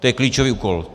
To je klíčový úkol.